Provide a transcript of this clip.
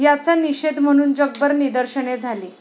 याचा निषेध म्हणून जगभर निदर्शने झाली.